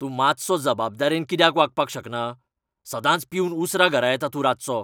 तूं मातसो जबाबदारेन कित्याक वागपाक शकना? सदांच पिवन उसरां घरा येता तूं रातचो.